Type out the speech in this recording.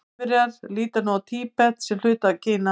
Kínverjar líta nú á Tíbet sem hluta af Kína.